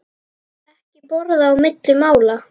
Ekki borða á milli mála.